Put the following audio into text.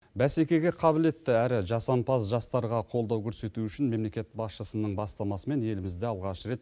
бәсекеге қабілетті әрі жасампаз жастарға қолдау көрсету үшін мемлекет басшысының бастамасымен елімізде алғаш рет